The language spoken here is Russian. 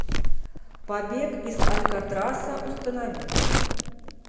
побег из алькатраса установи